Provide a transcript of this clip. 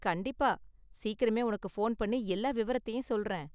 கண்டிப்பா, சீக்கிரமே உனக்கு போன் பண்ணி எல்லா விவரத்தையும் சொல்றேன்.